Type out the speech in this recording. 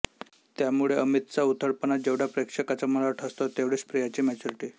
त्यामुळे अमितचा उथळपणा जेवढा प्रेक्षकाच्या मनावर ठसतो तेवढीच प्रियाची मॅच्युरिटी